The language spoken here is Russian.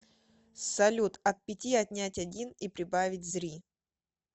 салют от пяти отнять один и прибавить зри